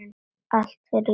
Allt fyrir jólin.